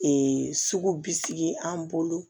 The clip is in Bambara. sugu bi sigi an bolo